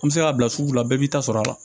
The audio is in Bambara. An bɛ se k'a bila sugu la bɛɛ b'i ta sɔrɔ a la